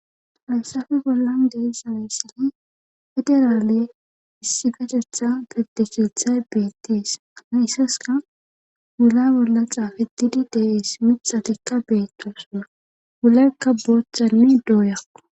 Fayssafi bollan deisameyssani federaale issi kachetha betishithay beettis anaissaska gula bolla xaafedidi deeis mixatikka beettosona wulakka boohamidooyakku..